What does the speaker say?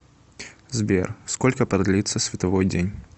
сбер сколько продлится световой день